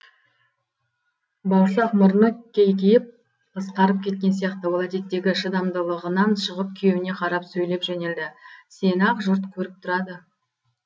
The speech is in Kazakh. бауырсақ мұрны кейкиіп қысқарып кеткен сияқты ол әдеттегі шыдамдылығынан шығып күйеуіне қарап сөйлеп жөнелді сені ақ жұрт көріп тұрады